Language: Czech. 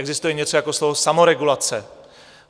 Existuje něco jako slovo samoregulace.